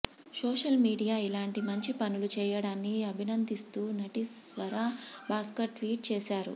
social media ఇలాంటి మంచి పనులు చేయడాన్ని అభినందిస్తూ నటి స్వరా భాస్కర్ ట్వీట్ చేశారు